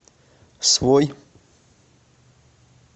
свой